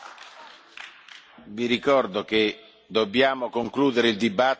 Vi ricordo che dobbiamo concludere il dibattito alle